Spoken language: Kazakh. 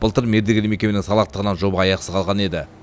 былтыр мердігер мекеменің салақтығынан жоба аяқсыз қалған еді